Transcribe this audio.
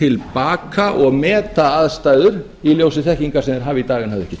til baka og meta aðstæður í ljósi þekkingar sem þeir hafa í dag en höfðu ekki